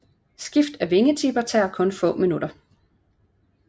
Skift af vingetipper tager kun få minutter